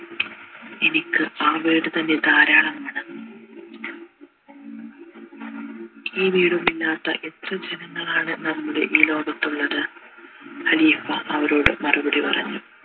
എനിക്ക് ആ വീട് തന്നെ ധാരാളമാണ് ഈ വീടുമില്ലാത്ത എത്ര ജനങ്ങളാണ് നമ്മുടെ ഈ ലോകത്തുള്ളത് ഖലീഫ അവരോട് മറുപടി പറഞ്ഞു